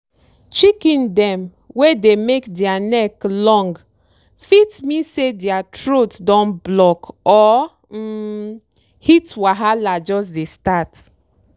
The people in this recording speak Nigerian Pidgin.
chicken dem wey dey make dere neck long fit mean say dere throat don block or um heat wahala jus dey start.